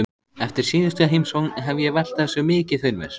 Eftir síðustu heimsókn hef ég velt þessu mikið fyrir mér.